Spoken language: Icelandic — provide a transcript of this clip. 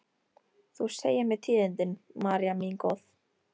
Þú segir mér tíðindin, María mín góð.